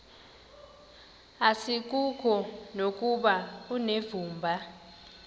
asikuko nokuba unevumba